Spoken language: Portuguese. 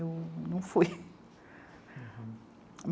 Eu não fui.